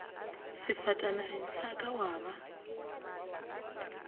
sefatanageng sa ka wa ba